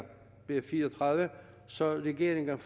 b fire og tredive så regeringen